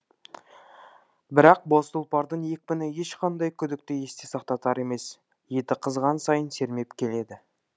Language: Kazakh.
бірақ боз тұлпардың екпіні ешқандай күдікті есте сақтатар емес еті қызған сайын сермеп келеді